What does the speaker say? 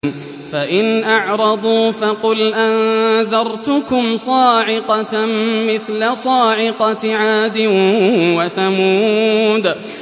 فَإِنْ أَعْرَضُوا فَقُلْ أَنذَرْتُكُمْ صَاعِقَةً مِّثْلَ صَاعِقَةِ عَادٍ وَثَمُودَ